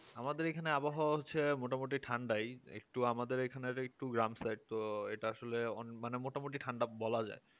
আমাদের এখানে আবহাওয়া হচ্ছে মোটামুটি ঠান্ডায় একটু আমাদের এখানে একটু গ্রাম side তো এটা আসলে মোটামুটি ঠান্ডা বলা যায়